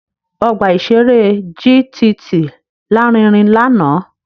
Ọgbà-ìṣeré JTT lárinrin lánàá